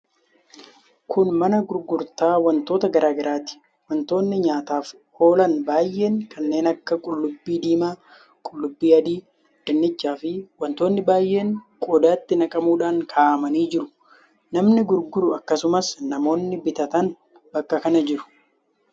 Kun mana gurgurtaa wantoota garaa garaati. Wantoonni nyaataaf oolan baay'een kanneen akka: qullubbii diimaa, qullubbii adii, dinnichaa fi wantootni baay'een qodaatti naqamuudhaan kaa'amanii jiru. Namni gurguru, akkasumas namoonni bitatan bakka kana jiru.